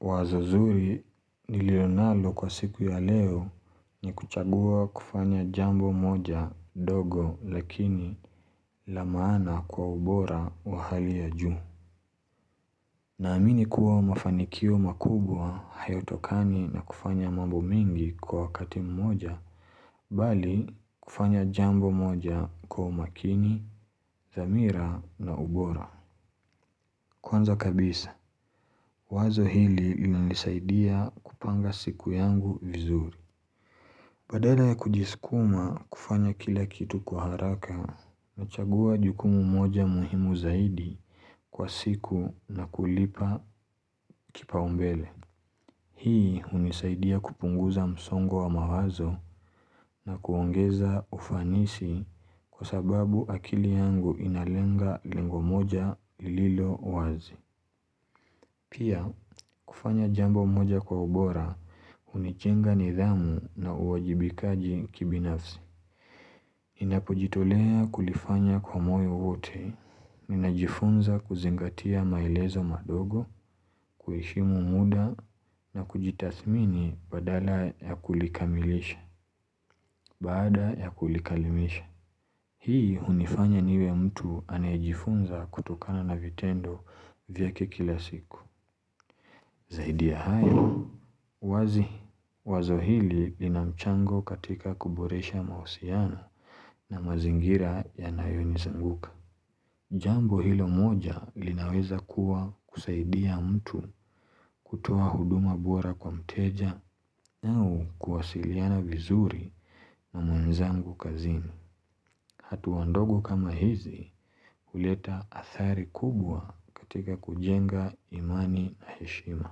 Wazo zuri niliyonalo kwa siku ya leo ni kuchagua kufanya jambo moja dogo lakini la maana kwa ubora wa hali ya juu. Naamini kuwa mafanikio makubwa hayatokani na kufanya mambo mingi kwa wakati mmoja, bali kufanya jambo moja kwa umakini, dhamira na ubora. Kwanza kabisa, wazo hili lilinisaidia kupanga siku yangu vizuri. Badala ya kujisikuma kufanya kila kitu kwa haraka. Nachagua jukumu moja muhimu zaidi kwa siku na kulipa kipaumbele. Hii hunisaidia kupunguza msongo wa mawazo na kuongeza ufanisi kwa sababu akili yangu inalenga lengo moja lililowazi. Pia kufanya jambo moja kwa ubora unijenga nidhamu na uwajibikaji kibinafsi. Ninapojitolea kulifanya kwa moyo wote, ninajifunza kuzingatia maelezo madogo, kuheshimu muda na kujitathmini badala ya kulikamilisha, baada ya kulikalimisha. Hii unifanya niwe mtu anayejifunza kutokana na vitendo vyake kila siku. Zaidi ya hayo, wazi, wazohili linamchango katika kuboresha mausiano na mazingira ya nayoni zunguka. Jambo hilo moja linaweza kuwa kusaidia mtu kutoa huduma bora kwa mteja na ukuwasiliana vizuri na mwenzangu kazini. Hatua ndogo kama hizi uleta athari kubwa katika kujenga imani na heshima.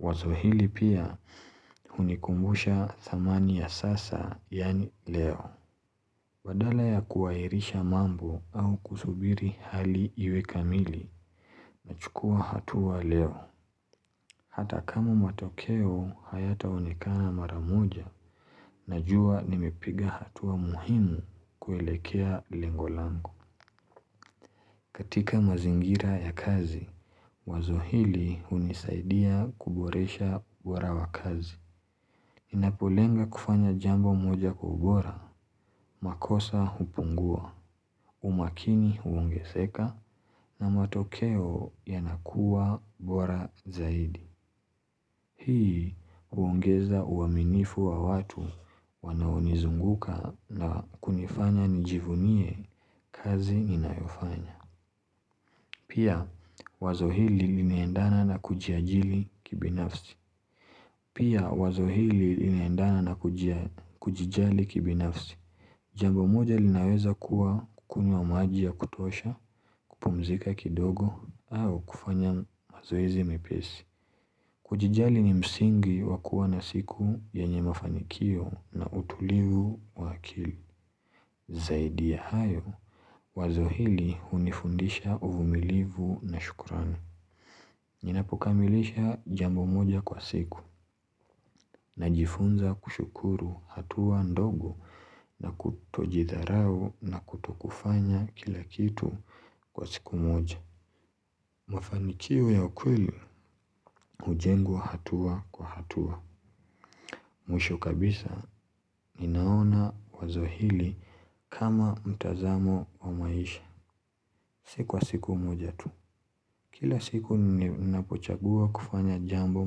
Wazo hili pia unikumbusha thamani ya sasa yaani leo. Badala ya kuwairisha mambo au kusubiri hali iwe kamili, nachukua hatua leo. Hata kama matokeo hayataonekana maramoja, najua nimepiga hatua muhimu kuelekea lengolango. Katika mazingira ya kazi, wazo hili unisaidia kuboresha ubora wa kazi. Ninapolenga kufanya jambo moja kwa ubora, makosa hupungua, umakini huonge seka na matokeo yanakuwa bora zaidi. Hii huongeza uaminifu wa watu wanaonizunguka na kunifanya nijivunie kazi ninayofanya. Pia, wazo hili linaendana na kujijali kibinafsi. Jambo moja linaweza kuwa kukunywa maji ya kutosha, kupumzika kidogo, au kufanya mazoezi mepesi. Kujijali ni msingi wakuwa na siku yenye mafanikio na utulivu wa akili. Zaidi ya hayo, wazo hili unifundisha uvumilivu na shukurani. Ninapokamilisha jambo moja kwa siku na jifunza kushukuru hatua ndogo na kutojidharau na kuto kufanya kila kitu kwa siku moja mafanikio ya kweli ujengwa hatua kwa hatua mwisho kabisa ninaona wazo hili kama mtazamo wa maisha Si kwa siku moja tu Kila siku ninapochagua kufanya jambo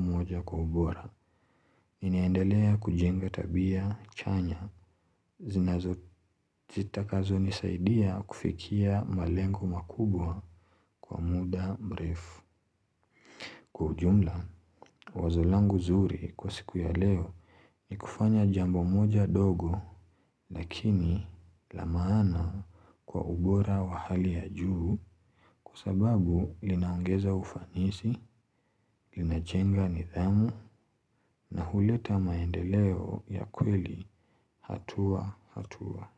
moja kwa ubora ninaendelea kujenga tabia chanya zinazo zitakazo nisaidia kufikia malengo makubwa kwa muda mrefu Kwa ujumla, wazo langu zuri kwa siku ya leo ni kufanya jambo moja dogo Lakini la maana kwa ubora wa hali ya juu kwa sababu linaongeza ufanisi, linajenga nidhamu na huleta maendeleo ya kweli, hatua, hatua.